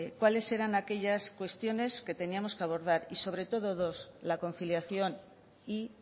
cuáles eran aquellas cuestiones que teníamos que abordar sobre todo la conciliación y